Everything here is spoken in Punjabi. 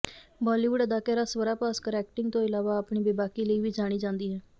ਬਾਲੀਵੁੱਡ ਅਦਾਕਾਰਾ ਸਵਰਾ ਭਾਸਕਰ ਐਕਟਿੰਗ ਤੋਂ ਇਲਾਵਾ ਆਪਣੀ ਬੇਬਾਕੀ ਲਈ ਵੀ ਜਾਣੀ ਜਾਂਦੀ ਹੈ